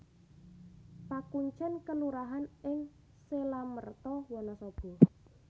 Pakuncèn kelurahan ing Selamerta Wanasaba